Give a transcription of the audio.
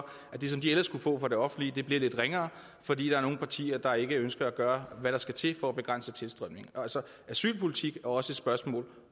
at det som de ellers kunne få fra det offentlige bliver lidt ringere fordi der er nogle partier der ikke ønsker at gøre hvad der skal til for at begrænse tilstrømningen asylpolitik er jo også et spørgsmål